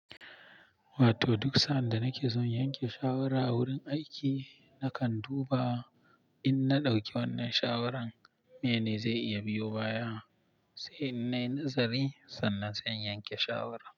Wato duk sa'an nake son yanke shawara a wurin aiki, nakan duba in na ɗauki wannan shawarar mene zai iya biyo baya, sai in nai nazari sannan sai in yanke shawara.